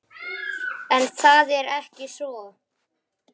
En það er ekki svo.